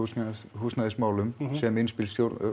húsnæðismálum sem innspil